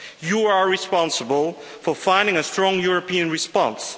You are responsible for finding a strong European response.